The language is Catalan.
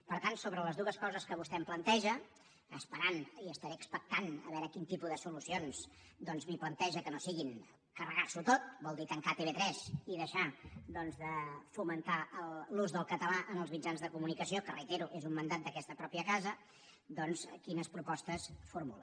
per tant sobre les dues coses que vostè em planteja esperant i estaré expectant a veure quin tipus de solucions li planteja que no siguin carregar s’ho tot vol dir tancar tv3 i deixar de fomentar l’ús del català en els mitjans de comunicació que ho reitero és un mandat d’aquesta mateixa casa doncs quines propostes formula